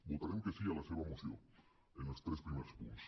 votarem que sí a la seva moció en els tres primers punts